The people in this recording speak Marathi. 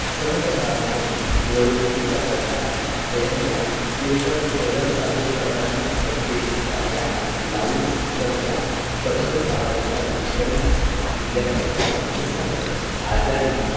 सन समारंभ, निवडणुकीचा प्रचार, जयंत्या, कीर्तन, भजन साजरे करताना ध्वनी क्षेपकाच्या loud speaker च्या कर्कश आवाजाचा दुष्परिणाम विद्यार्थ्यांच्या अभ्यासावर, आजारी,